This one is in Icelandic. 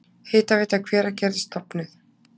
Hitaveita Hveragerðis stofnuð.